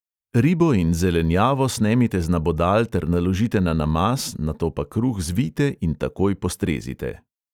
Ribo in zelenjavo snemite z nabodal ter naložite na namaz, nato pa kruh zvijte in takoj postrezite.